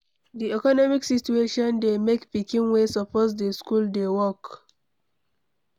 Di economic situation dey make pikin wey suppose dey school dey work